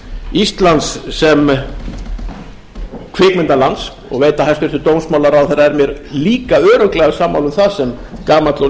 íslands sem kvikmyndalands og veit að hæstvirtur dómsmálaráðherra er mér líka örugglega sammála um það sem gamall og